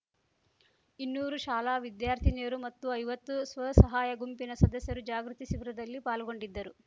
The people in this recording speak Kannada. ಇನ್ನೂರು ಶಾಲಾ ವಿದ್ಯಾರ್ಥಿನಿಯರು ಮತ್ತು ಐವತ್ತು ಸ್ವಸಹಾಯ ಗುಂಪಿನ ಸದಸ್ಯರು ಜಾಗೃತಿ ಶಿಬಿರದಲ್ಲಿ ಪಾಲ್ಗೊಂಡಿದ್ದರು